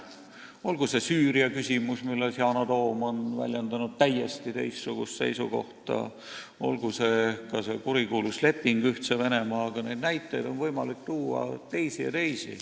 Olgu see Süüria küsimus, mille kohta Yana Toom on väljendanud täiesti teistsugust seisukohta, või olgu see ka kurikuulus leping Ühtse Venemaaga – neid näiteid on võimalik tuua veel ja veel.